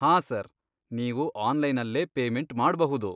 ಹಾಂ ಸರ್, ನೀವು ಆನ್ಲೈನಲ್ಲೇ ಪೇಮೆಂಟ್ ಮಾಡ್ಬಹುದು.